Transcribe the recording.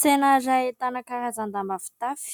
Saina iray ahitana karazan-damba fitafy,